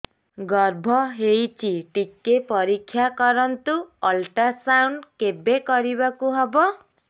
ଗର୍ଭ ହେଇଚି ଟିକେ ପରିକ୍ଷା କରନ୍ତୁ ଅଲଟ୍ରାସାଉଣ୍ଡ କେବେ କରିବାକୁ ହବ